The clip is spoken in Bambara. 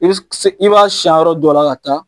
I be s k se i b'a siyan yɔrɔ dɔ la ka taa